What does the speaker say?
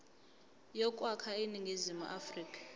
yokwakha iningizimu afrika